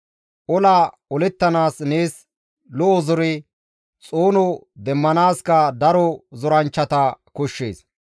Ola olettanaas nees lo7o zore xoono demmanaaskka daro zoranchchata koshshees.